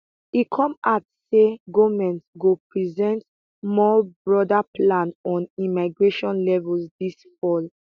im come add say goment go present more broader plan on immigration levels dis fall